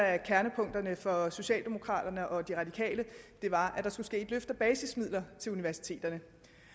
af kernepunkterne for socialdemokraterne og de radikale var at der skulle ske et løft af basismidler til universiteterne